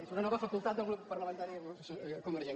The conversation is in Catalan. és una nova facultat del grup parlamentari convergent